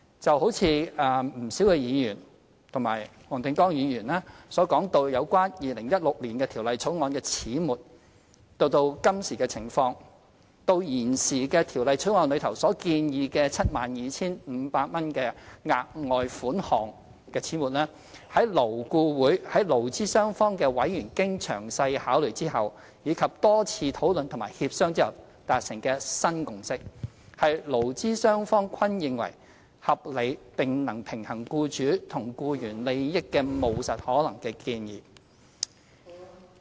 就如不少議員和黃定光議員所講到有關2016年的條例草案的始末到今時的情況，即到現時的《條例草案》中所建議的 72,500 元額外款項的始末，勞顧會在勞資雙方的委員經詳細考慮後，以及多次討論和協商後達成的新共識，是勞資雙方均認為合理並能平衡僱主和僱員利益的務實可行的建議。